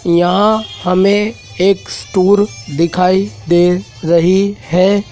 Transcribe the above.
यहां हमें एक स्टोर दिखाई दे रही है।